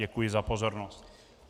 Děkuji za pozornost.